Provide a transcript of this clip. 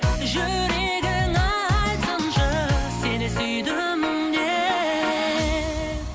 жүрегің айтсыншы сені сүйдім деп